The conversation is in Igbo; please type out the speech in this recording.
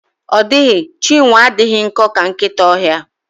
Ọ dịghị Chinwe adịghị nkọ ka nkịta ọhịa.